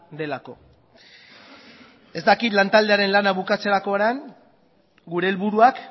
delako ez dakit lantaldearen lana bukatzerakoan gure helburuak